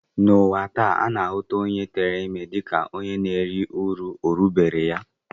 N'ụwa taa, a na-ahụta onye tere ime dịka onye na-eri uru orubeere ya